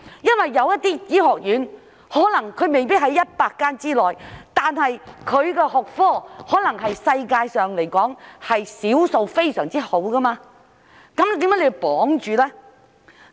有些醫學院可能未必是在100間之內，但其學科可能是世界上少數非常好的，為何要綁住手腳呢？